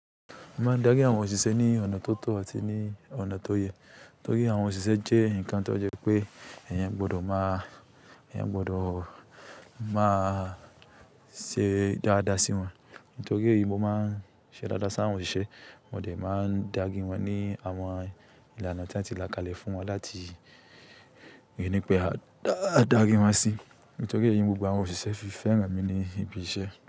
Mo máa ń dári àwọn òṣìṣẹ́ ní ọ̀nà tó tọ̀ àti ní ọ̀nà tó yẹ. Nítorí àwọn òṣìṣẹ́ jẹ́ ǹkan tó jẹ́ pé ẹ̀yin gbọdọ̀ máa, ẹ̀yin gbọdọ̀ máa ṣe dáadáa sí wọn. Nítorí eyí mo maá ń ṣe dáadáa sí àwọn òṣìṣẹ́, wọ́n dẹ máa ń dári wọn ní àwọn ìlànà tí a ti là kalẹ̀ fún wọn láti rí pé a dári wọn sí. Nítorí èyí ni gbogbo àwọn òṣìṣẹ́ fi fẹ́ra mi ní ibi iṣẹ́.